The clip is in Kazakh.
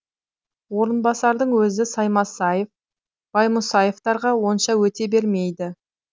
орынбасардың сөзі саймасаев баймұсаевтарға онша өте бермейді